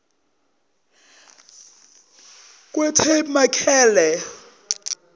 kwetabemakele